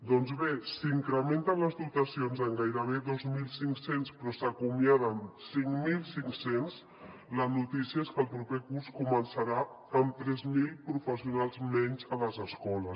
doncs bé si incrementen les dotacions en gairebé dos mil cinc cents però se n’acomiaden cinc mil cinc cents la notícia és que el proper curs començarà amb tres mil professionals menys a les escoles